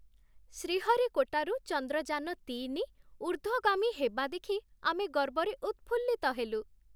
ଶ୍ରୀହରିକୋଟାରୁ ଚନ୍ଦ୍ରଯାନ ତିନି ଊର୍ଦ୍ଧ୍ଵଗାମୀ ହେବା ଦେଖି ଆମେ ଗର୍ବରେ ଉତ୍ଫୁଲ୍ଲିତ ହେଲୁ।